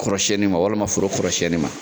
Kɔrɔsɛni ma walima foro kɔrɔsɛni ma